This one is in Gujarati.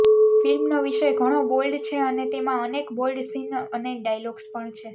ફિલ્મનો વિષય ઘણો બોલ્ડ છે અને તેમાં અનેક બોલ્ડ સિન અને ડાયલોગ્સ પણ છે